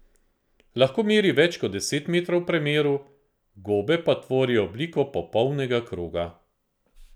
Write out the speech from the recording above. Lahko meri več kot deset metrov v premeru, gobe pa tvorijo obliko popolnega kroga.